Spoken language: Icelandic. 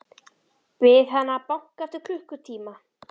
Bið hana að banka eftir klukkutíma.